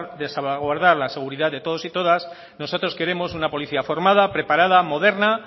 de salvaguardar la seguridad de todos y todas nosotros queremos una policía formada preparada moderna